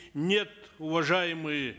нет уважаемые